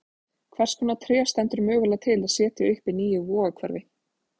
Hvers konar tré stendur mögulega til að setja upp í nýju Vogahverfi?